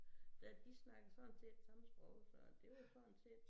Ja de snakkede sådan set samme sprog så det var jo sådan set